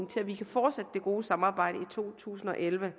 til at vi kan fortsætte det gode samarbejde i to tusind og elleve